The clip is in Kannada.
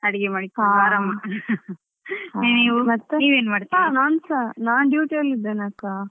ಹಾ ಮತ್ತೆ.